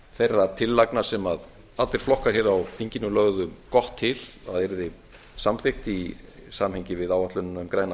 þeirra tillagna sem allir flokkar á þinginu lögðu gott til að yrði samþykkt í samhengi við áætlunina um græna